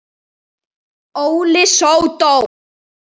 Óli sódó!